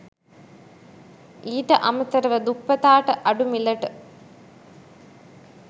ඊට අමතරව දුප්පතාට අඩු මිලට